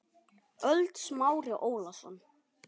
ÖLD Smári Ólason